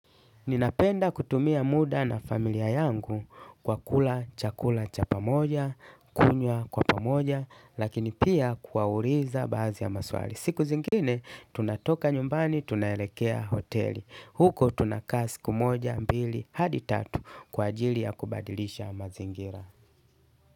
Ninapenda kutumia muda na familia yangu kwa kula chakula cha pamoja, kunywa kwa pamoja, lakini pia kuwauliza baadhi ya maswali. Siku zingine, tunatoka nyumbani, tunaelekea hoteli. Huko tunakaa siku moja, mbili, hadi tatu kwa ajili ya kubadilisha mazingira.